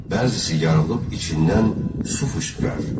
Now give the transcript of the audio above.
Bəzisi yarılıb içindən su fışqırar.